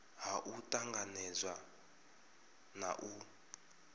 ha u tanganedza na u